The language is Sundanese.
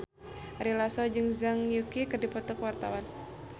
Ari Lasso jeung Zhang Yuqi keur dipoto ku wartawan